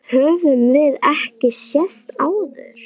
Höfum við ekki sést áður?